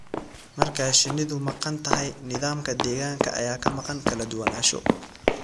Marka shinnidu maqan tahay, nidaamka deegaanka ayaa ka maqan kala duwanaansho